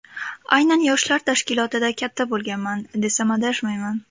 Aynan yoshlar tashkilotida katta bo‘lganman, desam adashmayman.